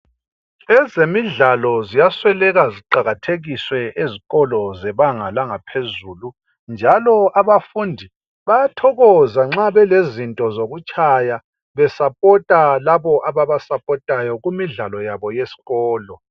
Ezemidlalo ziyasweleka ziqakathekiswe ezikolo zebanga langaphezulu njalo abafundi bayathokoza nxa belezinto zokutshaya besapota labo ababasapotayo kumidlalo yabo yesikolo